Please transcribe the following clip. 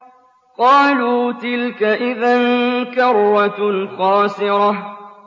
قَالُوا تِلْكَ إِذًا كَرَّةٌ خَاسِرَةٌ